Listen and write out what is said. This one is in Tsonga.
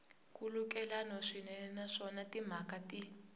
nkhulukelano swinene naswona timhaka ti